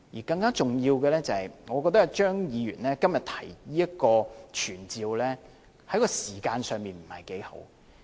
更重要的是，我覺得張議員今天提出這項傳召議案，在時間上不是太好。